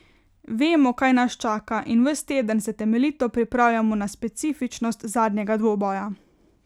Vemo, kaj nas čaka, in ves teden se temeljito pripravljamo na specifičnost zadnjega dvoboja.